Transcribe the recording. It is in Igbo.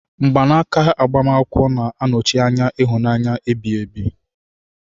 Mgbanaka agbamakwụkwọ na-anọchi anya ịhụnanya ebighi ebi.